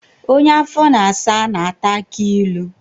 Onye afọ na-asa na-ata akị ilu